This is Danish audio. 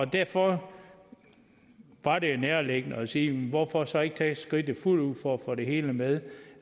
derfor var det jo nærliggende at sige hvorfor så ikke tage skridtet fuldt ud for at få det hele med